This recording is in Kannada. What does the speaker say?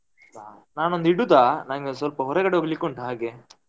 ನಾನೊಂದು ಇಡುದ ನಂಗೆ ಒಂದ್ ಸ್ವಲ್ಪ ಹೊರಗಡೆ ಹೋಗ್ಲಿಕ್ಕೆ ಉಂಟು ಹಾಗೆ?